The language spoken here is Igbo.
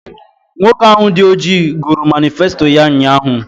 Nwoke ahụ dị ọjị gụrụ manịfesto ya ụnyaahụ